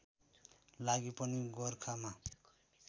लागि पनि गोरखामा